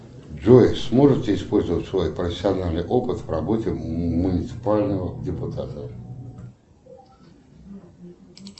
джой сможете использовать свой профессиональный опыт в работе муниципального депутата